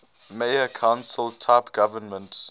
mayor council type government